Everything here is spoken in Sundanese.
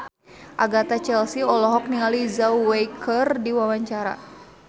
Agatha Chelsea olohok ningali Zhao Wei keur diwawancara